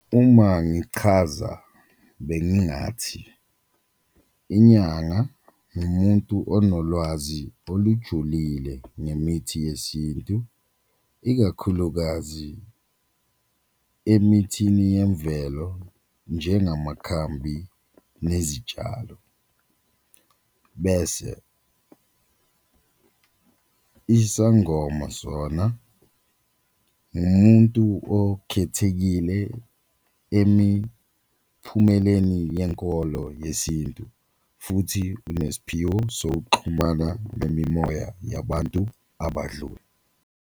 Uma ngichaza bengingathi inyanga nimuntu onolwazi olujulile ngemithi yesintu ikakhulukazi emithini yemvelo njengamakhambi nezitshalo, bese isangoma sona umuntu okukhethekile emiphumeleni yenkolo yesintu futhi unesphiwo sokuxhumana nemimoya yabantu abadlule.